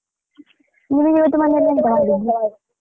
ನಿಮಗಿವತ್ತು ಮನೆಯಲ್ಲಿ ಎಂತ ಮಾಡಿದ್ದು?